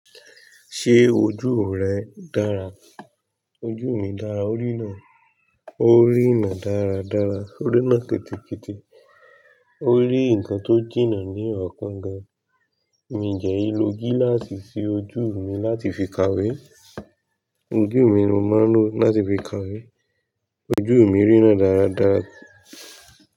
Ṣé ojú rẹ dára? Ojú mi dára. Ó ríná. Ó rína dáradára. Ó rína kitikieti. Ó rí nǹkan tó jìnnà ní ọ̀kan gan. Mi dẹ̀ ìlò gíláàsì sí ojú mi láti fi kàwé. Ojú mi ni mo máa ń lò láti fi kàwé. Ojú mi rína dáradára.